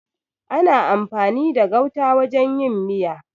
Ana amfani da gauta wajen yin miya.